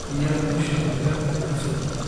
Biyaha kushup albabka aghtisaa.